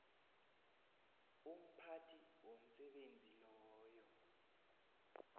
umphathi womsebenzi loyo